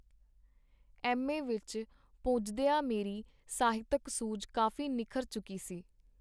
M. A. ਵਿਚ ਪੁਜਦੀਆਂ ਮੇਰੀ ਸਾਹਿਤਕ ਸੂਝ ਕਾਫੀ ਨਿੱਖਰ ਚੁਕੀ ਸੀ.